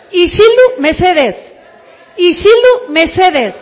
isildu mesedez isildu mesedez